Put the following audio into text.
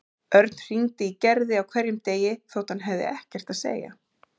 Örn hringdi í Gerði á hverjum degi þótt hann hafði ekkert að segja.